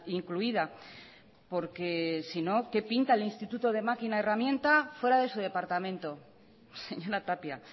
incluida porque sino qué pinta el instituto de máquina herramienta fuera de su departamento señora tapia